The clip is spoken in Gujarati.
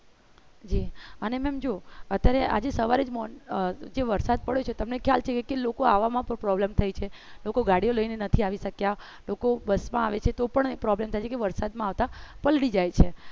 જી અને ma'am જો અત્યારે આજે સવારેજ morning માં જે વરસાદ પડ્યો છે તે તમને ખ્યાલ છે કે લોકો આવા માં problem થાય છેલોકો ગાડીઓ લઇ ને નથી આવી સકતા લોકો બસ માં આવે છે તો પણ problem થાય છે કે કે વરસાદમાં આવતા પલળી જાય છે